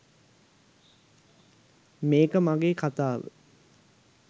මේක මගේ කතාව